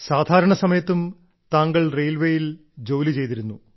സാധാരണ സമയത്തും താങ്കൾ റെയിൽവേയിൽ ജോലി ചെയ്തിരുന്നു